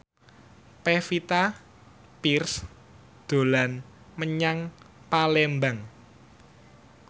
Pevita Pearce dolan menyang Palembang